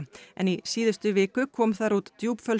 en í síðustu viku kom þar út